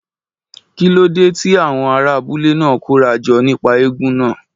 Kí ló dé tí àwọn ará abúlé náà kóra jọ nípa eégún náà?